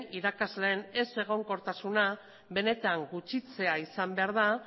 irakasleen ezegonkortasuna benetan gutxitzea izan behar da